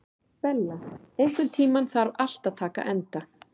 Bella, einhvern tímann þarf allt að taka enda.